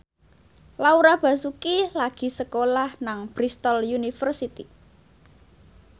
Laura Basuki lagi sekolah nang Bristol university